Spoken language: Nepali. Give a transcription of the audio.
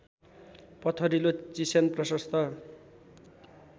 पत्थरिलो चिस्यान प्रशस्त